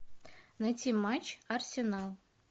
найти матч арсенал